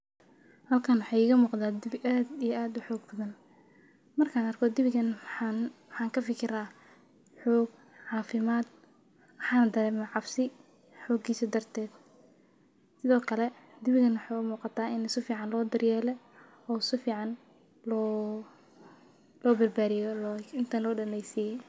Halkaan waxa iga muqda dibi aad iyo aad xog badan. Markaan arko dibigan maxaan ha ka fikiraa xoog caaafimaad waxa dareemay cabsi xogigiisa darteed. Sidoo kale dibigana waxa muuqata in sufiican loo dariyeele oo sufiican loo loo barbaariyo intaan loo dhanaysii.